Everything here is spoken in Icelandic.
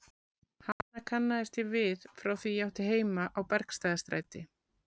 Hana kannaðist ég við frá því ég átti heima á Bergstaðastræti.